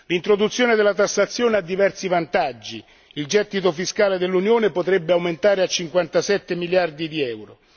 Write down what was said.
L'introduzione della tassazione ha diversi vantaggi il gettito fiscale dell'Unione potrebbe aumentare fino a 57 miliardi di euro